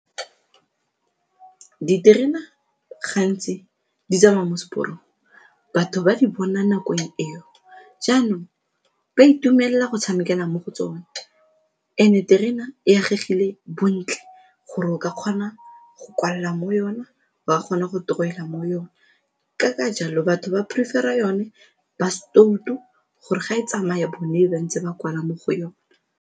Diterena gantsi di tsamaya mo seporong, batho ba di bona nakong eo. Jaanong, ba itumelela go tshamekela mo go tsone and-e terena e agegile bontle gore o ka kgona go kwalla mo yone, wa kgona go torowela mo yone ka ka jalo batho ba prefer-ra yone ba setoutu gore ga e tsamaya ba neng ba ntse ba kwala mo go yone.